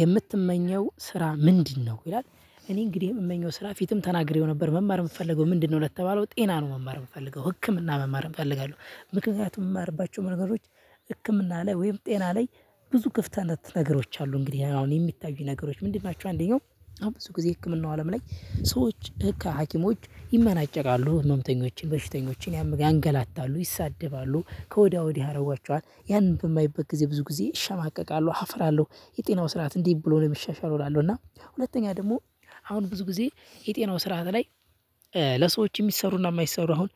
የምትመኘው ስራ ምንድነው? ይላል። እኔ እንግዲህ የምመኘው ስራ ፊትም ተናግሬው ነበር። መማር የምፈልገው ምንድነው ለተባለው ጤና ነው መማር የምፈልገው። ህክምና መማር እፈልጋለሁ። ምክንያቱም የምማርባቸው ነገሮች ህክምና ላይ ወይም ጤና ላይ ብዙ ክፍተት ነገሮች አሉ። እንግዲህ አሁን የሚታዩኝ ነገሮች ምንድን ናቸው? አንደኛው አሁን ብዙ ጊዜ ህክምናው አለም ላይ ሰዎች ከሀኪሞች ይመናጨቃሉ። ህምተኞችን፣ በሽተኞችን፣ ያንገላታሉ ይሳደባሉ። ከወዲያ ወዲህ ያደርጓቸዋል። ያንን በማይበት ጊዜ ብዙ ጊዜ እሸማቀቃለሁ፣ አፍራለሁ። የጤናው ስርዓት እንዴት ብሎ ነው የሚሻሻለው እላለሁ። እና ሁለተኛ ደግሞ አሁን ብዙ ጊዜ የጤናው ስርዓት ላይ ለሰዎች የሚሰሩና የማይሰሩ አሁን